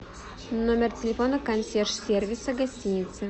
номер телефона консьерж сервиса гостиницы